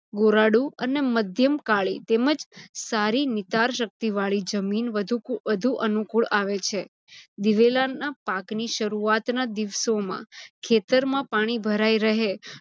ગોરાડું અને મધ્યમ કાળી તેમજ સારી નિતાર શક્તિવાળી જમીન વધુ અનુકુળ આવે છે. દિવેલાના પાક ની શરુઆત ના દિવસોમાં ખેતરમાં પાણી રહે